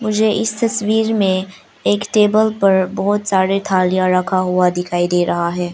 मुझे इस तस्वीर में एक टेबल पर बहुत सारे थालियां रखा हुआ दिखाई दे रहा है।